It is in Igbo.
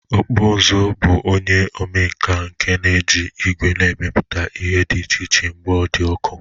Ọkpụụzụ bụ onye omenkà nke na-eji ígwè na-emepụta ihe dị ịchichịe mgbe ọ dị ọkụ